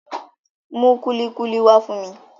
Mú kúlíkúlí wá fún mi